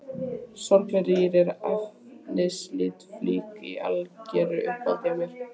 Sorglega rýr og efnislítil flík í algeru uppáhaldi hjá